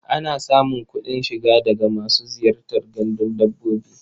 Ana samun kuɗin shiga daga masu ziyartar gandun dabbobi.